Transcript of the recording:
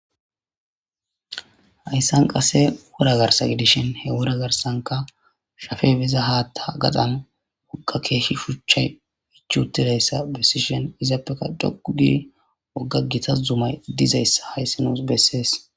Hayssan qase wura garsa gidishin he wura garsanka shafe biza haatta gaxan woqa keeshshi shuchchay ichuutileyssa bessishin izaappeka dhogudi wogga gitas zumay dizayssa hayssi nuus bessees